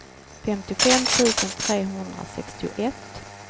femtiofem tusen trehundrasextioett